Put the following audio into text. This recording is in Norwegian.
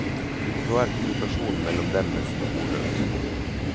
Nå er kommunikasjonen mellom dem nesten ordløs.